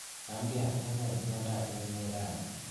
Chamgee, unee itondap emet rani.